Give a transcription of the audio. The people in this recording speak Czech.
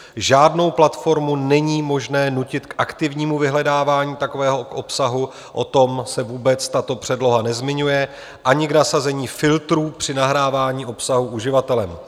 Žádnou platformu není možné nutit k aktivnímu vyhledávání takového obsahu, o tom se vůbec tato předloha nezmiňuje, ani k nasazení filtrů při nahrávání obsahu uživatelem.